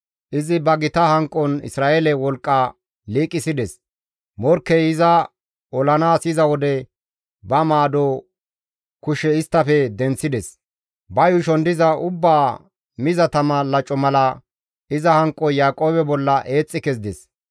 Izi ba gita hanqon Isra7eele wolqqa liiqisides; morkkey iza olanaas yiza wode ba maado kushe isttafe denththides; ba yuushon diza ubbaa miza tama laco mala iza hanqoy Yaaqoobe bolla eexxi kezides.